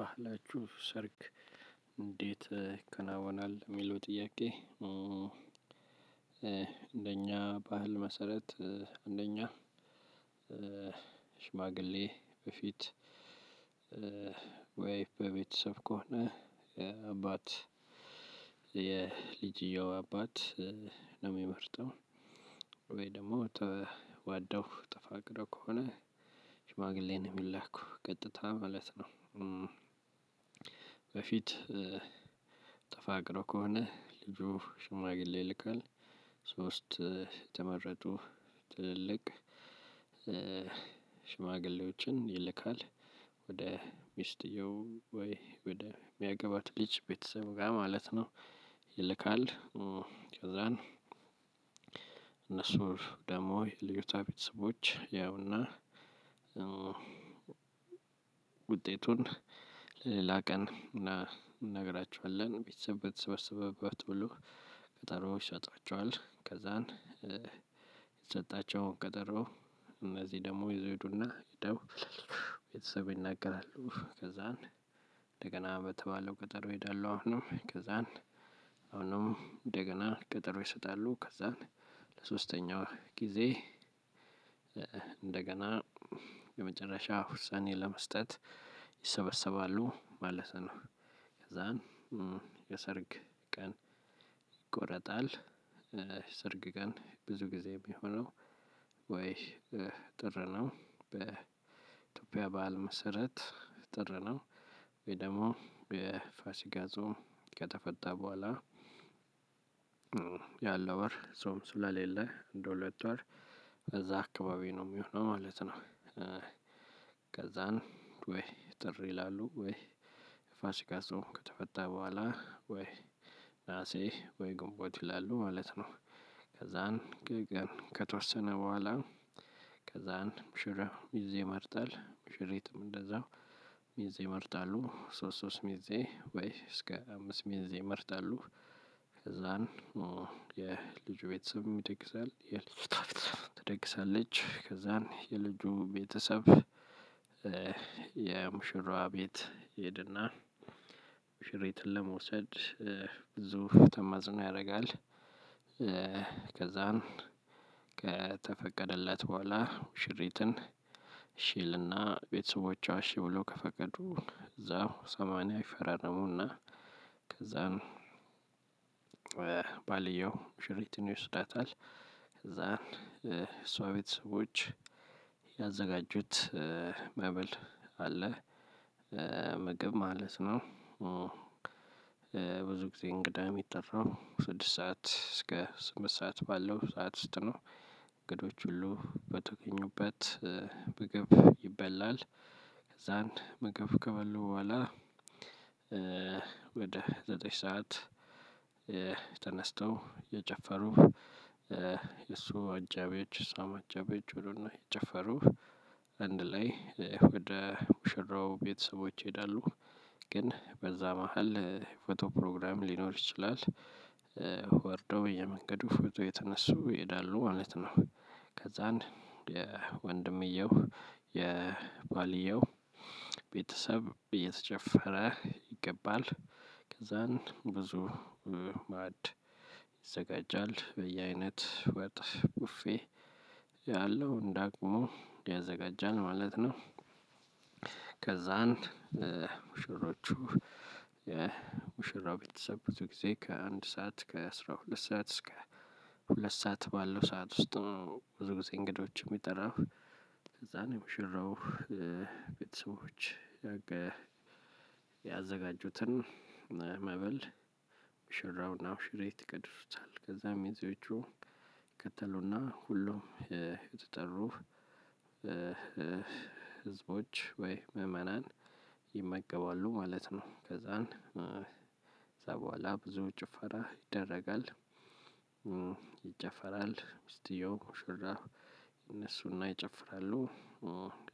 ባህላችሁ ሰርግ እንዴት ይከናወናል የሚለው ጥያቄ እንደኛ ባህል መሰረት። አንደኛ ሽማግሌ በፊት። ወይ በቤተሰብ ከሆነ አባት የልጅየው አባት ነው የሚመርጠው ወይ ደግሞ ተዋደው ተፋቅሮ ከሆነ ሽማግሌ ነው የሚላኩ ቀጥታ ማለት ነው። በፊት ጠፋቅሮ ከሆነ ልጁ ሽማግሌ ይልካል። ሶስት የተመረጡ ትልልቅ ሽማግሌዎችን ይልካል ወደ ሚስትየው ወይ ወደ የሚያገባት ልጅ ቤተሰብ ጋር ማለት ነው። ይልካል ከዛን እነሱ ደግሞ የልዩታ ቤተሰቦች ያውና። ውጤቱን ለሌላ ቀን እናገራችኋለን። ቤተሰብ በተሰበሰበበት ሁሉ ቀጠሮ ይሰጧቸዋል። ከዛን ይሰጣቸው ቀጠሮ እነዚህ ደግሞ ይዘው ይዱና ይደው። ቤተሰብ ይናገራሉ ከዛን እንደገና በተባለው ቀጠሮ ይሄዳሉ። አሁንም ከዛን አሁንም እንደገና ቀጠሮ ይሰጣሉ ከዛን ለሶስተኛው ጊዜ እንደገና የመጨረሻ ውሳኔ ለመስጠት ይሰበሰባሉ ማለት ነው። ከዛን የሰርግ ቀን ይቆረጣል። ሰርግ ቀን ብዙ ጊዜ የሚሆነው ወይ ጥር ነው በኢትዮጵያ ባዓል መሰረት ጥር ነው። ወይ ደግሞ የፋሲጋ ጾም ከተፈታ በኋላ። ያለው ወር ጾም ስላሌለ እንደሁለት ወር ከዛ አካባቢ ነው የሚሆነው ማለት ነው። ከዛን ወይ ጥር ይላሉ ወይ ፋሲካ ጾም ከተፈታ በኋላ ወይ ነሀሴ ወይ ግንቦት ይላሉ ማለት ነው። ከዛን ግን ከተወሰነ በኋላ ከዛን ሙሽራው ሚዜ ይመርጣል ሙሽሪትም እንደዛው ሚዜ ይመርጣሉ። ሶስት ሶስት ሚዜ ወይ እስከ አምስት ሚዜ ይመርጣሉ። ከዛን የልጁ ቤተሰብ ይደግሳል የልጅቷም ቤተሰብም ትደግሳለች። ከዛን የልጁ ቤተሰብ የሙሽራዋ ቤት ይሄድና ሙሽሪትን ለመውሰድ ብዙ ተማጽኖ ያደርጋል። ከዛም ከተፈቀደለት በኋላ ሙሽሪትን እሽ ይልና ቤተሰቦቿ እሽ ብሎ ከፈቀዱ እዛው ሰማንያ ይፈራረሙና። ከዛን ባልየው ሙሽሪትን ይወስዳታል። ከዛን እሷ ቤተሰቦች ያዘጋጁት መብል አለ። ምግብ ማለት ነው። ብዙ ጊዜ እንግዳ የሚጠራው ስድስት ሰዓት እስከ ስምንት ሰዓት ባለው ሰዓት ውስጥ ነው። እንግዶች ሁሉ በተገኙበት ምግብ ይበላል። ከዛን ምግብ ከበሉ በኋላ። ወደ ዘጠኝ ሰዓት ተነስተው እየጨፈሩ የእሱ አጃቢዎች የእሷም አጃቢዎች ሁሉም እየጭፈሩ አንድ ላይ ወደ ሙሽራው ቤተሰቦች ይሄዳሉ። ግን በዛ መሃል ፎቶ ፕሮግራም ሊኖር ይችላል። ወርዶ በየመንገዱ ፎቶ የተነሱ ይሄዳሉ ማለት ነው። ከዛን ወንድምየው የባልየው ቤተሰብ እየተጨፈረ ይገባል። ከዛን ብዙ ማዕድ ይዘጋጃል በየአይነት ወጥ ቡፌ ያለው እንደአቅሙ ያዘጋጃል ማለት ነው። ከዛን ሙሽሮቹ የሙሽራው ቤተሰቦቹ ብዙ ጊዜ ከአንድ ሰዓት ከአስራ ሁለት ሰዓት እስከ ሁለት ሰዓት ባለው ሰዓት ውስጥ ብዙ ጊዜ እንግዶችም የሚጠራው። ከዛን ሙሽረው ቤተሰቦች ያዘጋጁትን መብል ሙሽራውና ሙሽሪት ይቀድሱታል ከዛም የሚዚዎቹ ይከተሉና ሁሉም እየተጠሩ ህዝቦች ወይ ምዕመናን ይመገባሉ ማለት ነው። ከዛን ከዛ በኋላ ብዙ ጭፈራ ይደረጋል። ይጨፈራል ሚስቲየው ሙሽራ እነሱና ይጨፍራሉ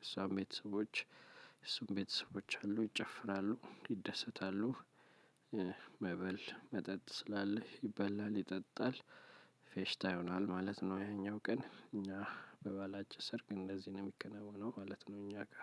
እሷም ቤተሰቦች እሱም ቤተሰቦች አሉ ይጨፍራሉ ይደሰታሉ። መብል መጠጥ ስላለ ይበላል ይጠጣል ፌሽታ ይሆናል ማለት ነው። ያኛው ቀን እኛ በባላችን ሰርግ እንደዚህ ነው የሚከናወነው ማለት ነው። እኛ